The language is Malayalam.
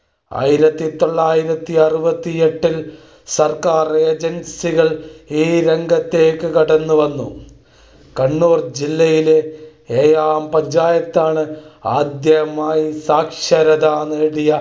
ആയിരത്തി തൊള്ളായിരത്തി അറുപത്തി ഏട്ടിൽ സർക്കാർ ഏജൻസി കൾ ഈ രംഗത്തേയ്ക്കു കടന്നു വന്നു. കണ്ണൂർ ജില്ലയിലെ എഴോം പഞ്ചായത്താണ് ആദ്യമായി സാക്ഷരതനേടിയ